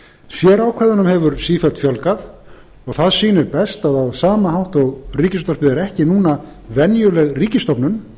sérákvæðunum hefur sífellt fjölgað það sýnir best að á sama hátt og ríkisútvarpið er ekki núna venjuleg ríkisstofnun